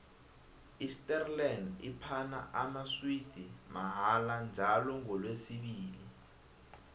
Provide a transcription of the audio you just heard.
isterland iphana amaswidi mahala njalo ngolesibili